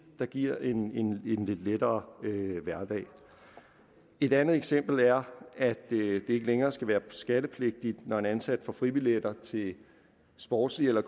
der giver en lidt lettere hverdag et andet eksempel er at det ikke længere skal være skattepligtigt når en ansat får fribilletter til sportslige eller